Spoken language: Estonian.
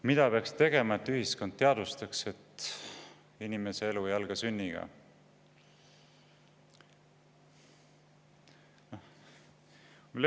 Mida peaks tegema, et ühiskond teadvustaks, et inimese elu ei alga sünniga?